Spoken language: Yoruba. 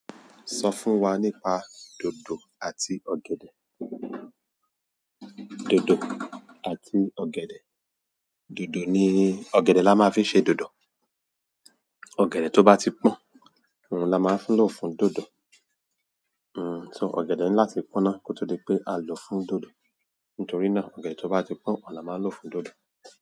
Sọ fún wa nípa dòdò àti ọ̀gẹ̀dẹ̀. Dòdò àti ọ̀gẹ̀dẹ̀. Dòdò ni-- ọ̀gẹ̀dẹ̀ la máa fi ń ṣe dòdò. Ọ̀gẹ̀dẹ̀ tó bá ti pọ́n oun la máa ń lò fún dòdò. Hmm, so ọ̀gẹ̀dẹ̀ ni láti pọ́nná kó tó di pé a lò fún dòdò. Nítorí náà ọ̀gẹ̀dẹ̀ to ba ti pon oun la maa nlo fún dodo.